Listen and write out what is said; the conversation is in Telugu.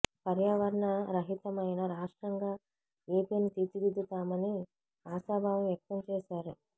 పర్యావరణ రహితమైన రాష్ట్రంగా ఏపీని తీర్చిదిద్దుతామని ఆశాభావం వ్యక్తం చేశారు